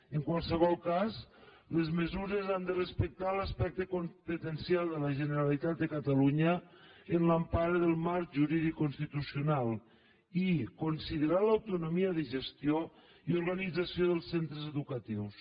en qualsevol cas les mesures han de respectar l’aspecte competencial de la generalitat de catalunya en l’empara del marc jurídic constitucional i considerar l’autonomia de gestió i organització dels centres educatius